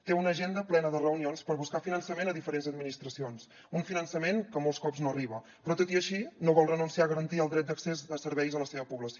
té una agenda plena de reunions per buscar finançament a diferents administracions un finançament que molts cops no arriba però tot i així no vol renunciar a garantir el dret d’accés a serveis a la seva població